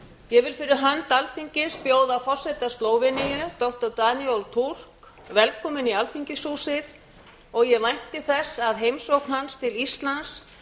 ég vil fyrir hönd alþingis bjóða forseta slóveníu doktor danilo fulk velkominn í alþingishúsið og ég vænti þess að heimsókn hans til íslands